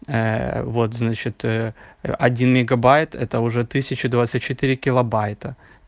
вот значит один мегабайт это уже тысяча двадцать четыре килобайта